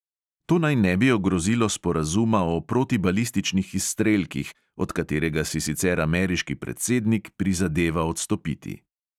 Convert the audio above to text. To naj ne bi ogrozilo sporazuma o protibalističnih izstrelkih, od katerega si sicer ameriški predsednik prizadeva odstopiti.